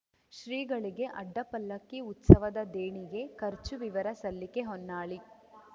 ಶ್ರೀಗಳಿಗೆ ಅಡ್ಡಪಲ್ಲಕ್ಕಿ ಉತ್ಸವದ ದೇಣಿಗೆ ಖರ್ಚು ವಿವರ ಸಲ್ಲಿಕೆ ಹೊನ್ನಾಳಿ